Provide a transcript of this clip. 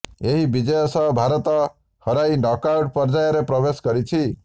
ଏହି ବିଜୟ ସହ ଭାରତ ହରାଇ ନକଆଉଟ ପର୍ଯ୍ୟାୟରେ ପ୍ରବେଶ କରିଛି